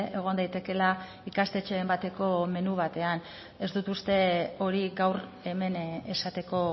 egon daitekeela ikastetxeen bateko menu batean ez dut uste hori gaur hemen esateko